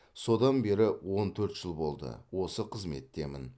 содан бері он төрт жыл болды осы қызметтемін